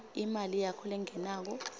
imali yakho lengenako